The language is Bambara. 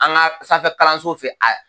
An ka sanfɛ kalanso fɛ a